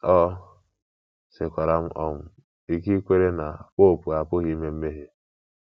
O sikwaara m um ike ikwere na popu apụghị ime mmehie.